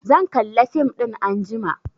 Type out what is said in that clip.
Zan kalla fim ɗin anjima